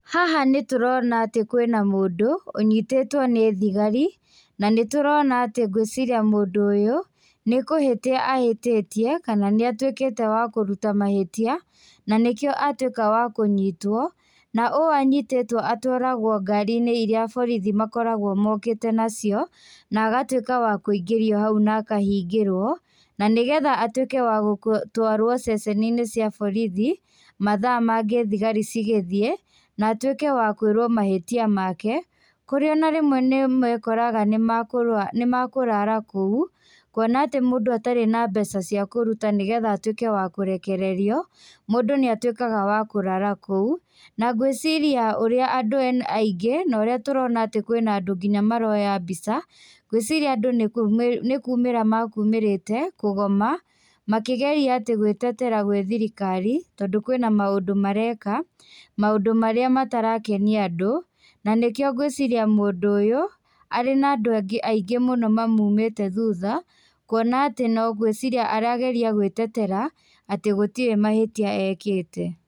Haha nĩtũrona atĩ kwĩna mũndũ, ũnyitĩtwo nĩ thigari, nanĩtũrona atĩ ngwĩciria mũndũ ũyũ, nĩkũhĩtia ahĩtĩtie, kana nĩatwĩkĩte wa kũruta mahĩtia, nanĩkĩo atuĩka wa kũnyitwo, na ũũ anyitĩtwo atwaragwo ngari-inĩ iria borithi makoragwo mokĩte nacio, nagatuĩka wa kũingĩrio hau na akahingĩrwo, na nĩgetha atuĩke wa gũtwarwo ceceni-inĩ cia borithi, mathaa mangĩ thigari cigĩthiĩ, na atuĩke wa kwĩrwo mahĩtia make, kũrĩa ona rĩmwe nĩmekoraga, nĩmekũ nĩmekũrara kũu, kuona atĩ mũndũ atarĩ na mbeca cia kũruta, nĩgetha atuĩke wa kũrekererio, mũndũ nĩatuĩkaga wa kũrara kũu, na ngwĩciria ũrĩa andũ ena aingĩ na ũrĩa tũrona atĩ kwĩna andũ nginya maroya mbica, ngwĩciria andũ nĩkũ nĩkumĩra makumĩrĩte kũgoma, makĩgeria atĩ gwĩtetera gwĩ thirikari, tondũ kwĩna maũndũ mareka, maũndũ marĩa matarakenia andũ, na nĩkĩo ngwĩciria mũndũ ũyũ, arĩ na andũ angĩ aingĩ mũno mamumĩte thuta, kuona atĩ no ngwĩciria arageria gwĩtetera atĩ gũtirĩ mahĩtia ekĩte.